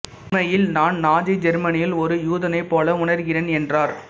உண்மையில் நான் நாஜி ஜெர்மனியில் ஒரு யூதனைப் போல உணர்கிறேன் என்றார்